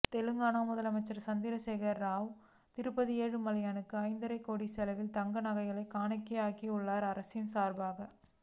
தெலங்கானா முதலமைச்சர் சந்திரசேகர ராவ் திருப்பதி ஏழுமலையானுக்கு அய்ந்தரைக் கோடி செலவில் தங்க நகைகளைக் காணிக்கையாக்கி உள்ளார் அரசின் சார்பாக